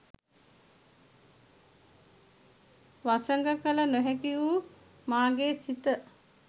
වසඟ කළ නොහැකි වූ මාගේ සිත